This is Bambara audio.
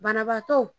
Banabaatɔ